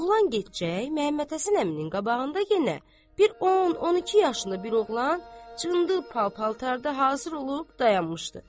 Oğlan gedəcək Məmmədhəsən əminin qabağında yenə bir 10-12 yaşını bir oğlan cındır pal paltarda hazır olub dayanmışdı.